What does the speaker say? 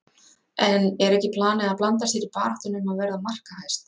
En er ekki planið að blanda sér í baráttuna um að verða markahæst?